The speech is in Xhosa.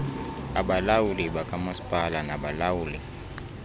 abalawuli bakamasipala nabalawuli